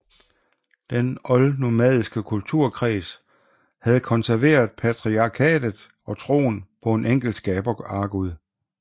Den oldnomadiske kulturkreds havde konserveret patriarkatet og troen på en enkelt skabeargud